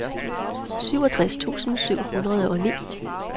syvogtres tusind syv hundrede og ni